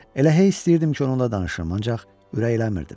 Elə hey istəyirdim ki, onunla danışım, ancaq ürəklənmirdim.